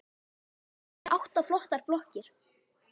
Hér eru átta flottar blokkir.